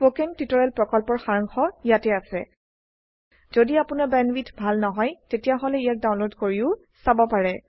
spoken tutorial প্ৰকল্পৰ সাৰাংশ ইয়াত আছে যদি আপোনাৰ বেণ্ডৱিডথ ভাল নহয় তেনেহলে ইয়াক ডাউনলোড কৰি চাব পাৰে